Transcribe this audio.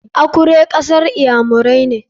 Akure kasar iyamirai ne.